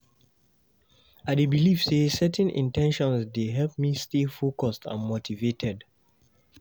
I dey believe say setting in ten tions dey help me stay focused and motivated.